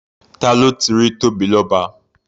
Ta ló ti rí Tóbilọ́ba?